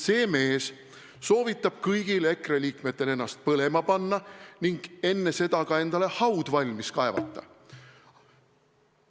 See mees soovitab kõigil EKRE liikmetel ennast põlema panna ning enne seda ka endale haud valmis kaevata.